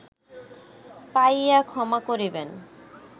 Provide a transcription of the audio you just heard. পাইয়া ক্ষমা করিবেন